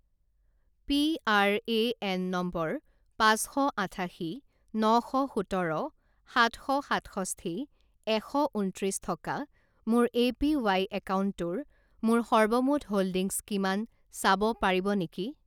PRAN number পাঁচ শ আঠাশী ন শ সোতৰ সাত শ সাতষষ্ঠি এশ ঊনত্ৰিছ থকা মোৰ এপিৱাই একাউণ্টটোৰ মোৰ সৰ্বমুঠ হোল্ডিংছ কিমান চাব পাৰিব নেকি?